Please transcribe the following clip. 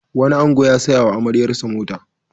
Wani ango ya saya wa amaryarsa mota.